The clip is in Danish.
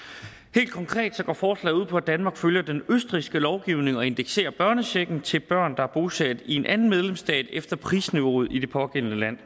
helt konkret går forslaget ud på at danmark følger den østrigske lovgivning og indekserer børnechecken til børn der er bosat i en anden medlemsstat efter prisniveauet i det pågældende land